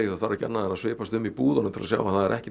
það þarf ekki annað en að svipast um í búðunum til að sjá að það er ekki